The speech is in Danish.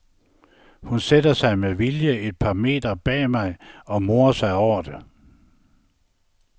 Hun sætter sig med vilje et par meter bag mig og morer sig over det.